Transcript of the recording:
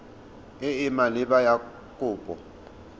e e maleba ya kopo